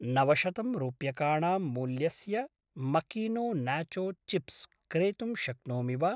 नवशतं रूप्यकाणां मूल्यस्य मकीनो नाचो चिप्स् क्रेतुं शक्नोमि वा?